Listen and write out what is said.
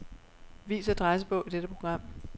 Vis adressebog i dette program.